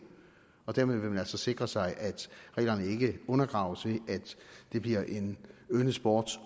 og dermed vil man altså sikre sig at reglerne ikke undergraves ved at det bliver en yndet sport